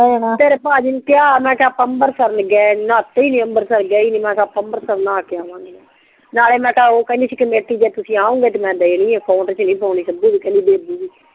ਤੇਰੇ ਪਾਜੀ ਨੂੰ ਮੈਂ ਕਿਹਾ ਮੈਂ ਕਿਹਾ ਆਪਾਂ ਅਮ੍ਰਿਤਸਰ ਨਹੀਂ ਗਏ ਨਾਤੇ ਹੀ ਨਹੀਂ ਮੈਂ ਕਿਹਾ ਆਪਾਂ ਅੰਮ੍ਰਿਤਸਰ ਨਹਾ ਕੇ ਆਵਾਂਗੇ ਨਾਲੇ ਮੈਂ ਕਿਹਾ ਓ ਕਿਹੰਦੀ ਸੀ ਕਮੇਟੀ ਜਦ ਤੁਸੀਂ ਆਓਗੇ ਤਾਂ ਮੈਂ ਦੇਣੀ ਆ